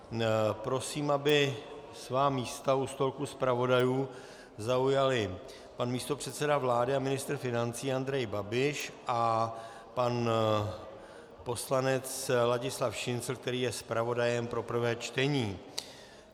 Prosím, aby svá místa u stolku zpravodajů zaujali pan místopředseda vlády a ministr financí Andrej Babiš a pan poslanec Ladislav Šincl, který je zpravodajem pro prvé čtení.